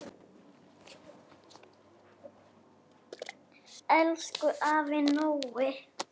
Elsku afi Nói.